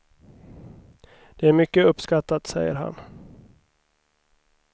Det är mycket uppskattat, säger han.